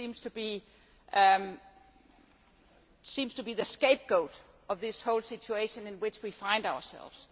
it seems to be the scapegoat of this whole situation in which we find ourselves.